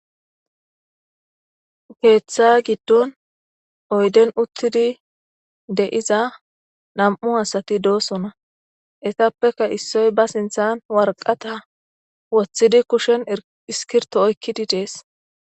Keeththa gidonn oydden utidi de"iza nam"u asati dossona etapekka issoy ba sinthan waraqata woththidi kushen iskbrto oyikkidi des